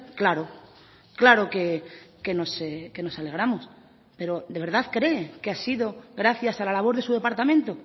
claro claro que nos alegramos pero de verdad cree que ha sido gracias a la labor de su departamento